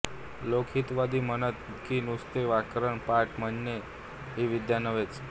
लोकहितवादी म्हणत की नुसते व्याकरण पाठ म्हणणे ही विद्या नव्हेच